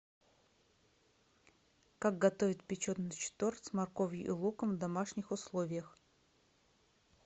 как готовить печеночный торт с морковью и луком в домашних условиях